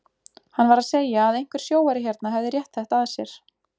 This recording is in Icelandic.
Hann var að segja að einhver sjóari hérna hefði rétt þetta að sér.